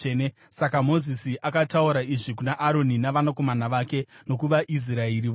Saka Mozisi akataura izvi kuna Aroni navanakomana vake nokuvaIsraeri vose.